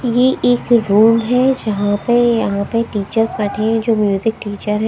ये एक रूम है जहां पे यहां पे टीचर्स बैठे हुए हैं जो म्यूजिक टीचर हैं।